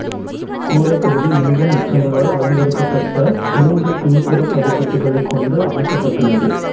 கூரைப்பகுதி லிங்கம் உச்சங்களால் அலங்கரிக்கப்பட்ட மூன்று பின்புறப் படிக்கட்டுகளைக் கொண்டு அமைக்கப்பட்டுள்ளது